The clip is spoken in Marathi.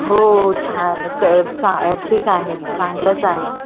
हो छान क चा अ ठीक आहे चांगलंच आहे. तुझ पिल्लू कस आहे?